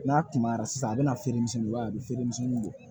N'a kunbayara sisan a bɛna feeremisɛnninw ye a bɛ feere misɛnninw bɔ